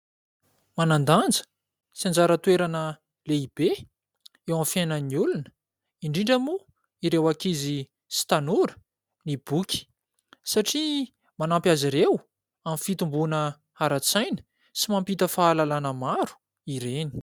Manan-danja sy anjara toerana lehibe eo amin'ny fiainan'ny olona, indrindra moa ireo akizy sy tanora ny boky, satria manampy azy ireo amin'ny fitomboana ara-tsaina, sy mampita fahalalàna maro ireny.